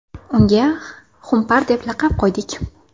Unga xumpar deb laqab qo‘ydik.